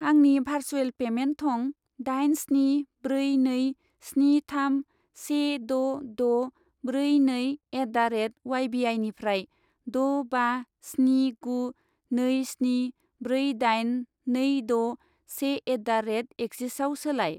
आंनि भारसुएल पेमेन्ट थं दाइन स्नि ब्रै नै स्नि थाम से द' द' ब्रै नै एट दा रेट उवाइ बि आइनिफ्राय द' बा स्नि गु नै स्नि ब्रै दाइन नै द' से एट दा रेट एक्सिसआव सोलाय।